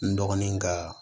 N dɔgɔnin ka